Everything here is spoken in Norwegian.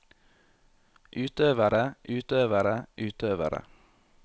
utøvere utøvere utøvere